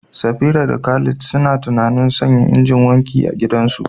Safira da Khalid suna tunanin sanya injin wanki a gidansu.